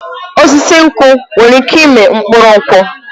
Osisi nkwụ nwere ike ịmị mkpụrụ nkwụ